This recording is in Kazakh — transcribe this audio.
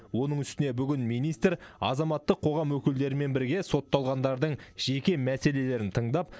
оның үстіне бүгін министр азаматтық қоғам өкілдерімен бірге сотталғандардың жеке мәселелерін тыңдап